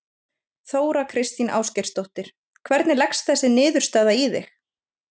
Þóra Kristín Ásgeirsdóttir: Hvernig leggst þessi niðurstaða í þig?